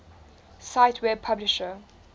cite web publisher